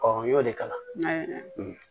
n y'o de kalan